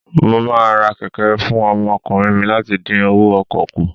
Mo máa ra kẹ̀kẹ́ fún ọmọkùnrin mi láti dín owó ọkọ̀ kù.